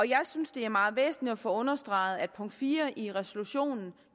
jeg synes det er meget væsentligt at få understreget at punkt fire i resolutionen